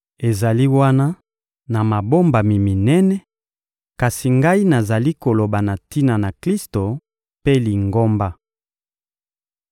Ezali wana na mabombami minene, kasi ngai nazali koloba na tina na Klisto mpe Lingomba.